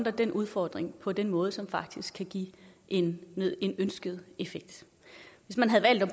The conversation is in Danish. den udfordring på den måde som faktisk kan give en ønsket effekt hvis man havde valgt at